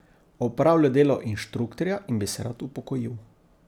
Opravlja delo inštruktorja in bi se rad upokojil.